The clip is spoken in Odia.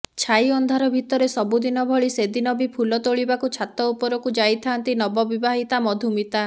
ଛାଇ ଅନ୍ଧାର ଭିତରେ ସବୁଦିନ ଭଳି ସେଦିନ ବି ଫୁଲ ତୋଳିବାକୁ ଛାତ ଉପରକୁ ଯାଇଥାଆନ୍ତି ନବବିବାହିତା ମଧୁମିତା